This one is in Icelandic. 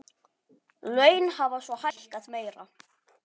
Laun hafa svo hækkað meira.